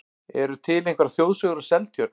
Eru til einhverjar þjóðsögur um Seltjörn?